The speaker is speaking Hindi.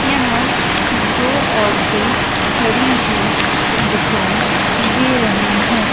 यहां दो औरते खड़ी हुई दिखाई दे रही है।